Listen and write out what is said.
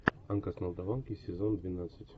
анка с молдаванки сезон двенадцать